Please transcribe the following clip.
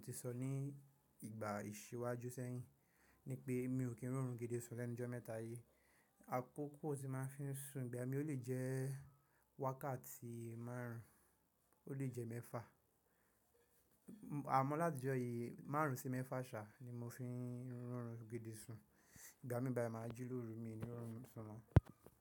Mo ti sọ ní ìgbà ìṣíwájú sẹ́yìn, ní pé mi ò kí ń ri orún gídí sún lẹ́nu jọ́ mẹ́ta yí. Àkókò tí máa ń fi sùn ìgbà mí ò lè jẹ́ wákàtí márùn-ún, ó lè jẹ́ mẹ́fà. Àmọ́ láti ọjọ́ yìí márùn-ún sí mẹ́fà ṣáà ni mo fi ń ri orún gídí sùn. Ìgbà mí báyi ma ji lóru mi ni rorun sùn mọ́.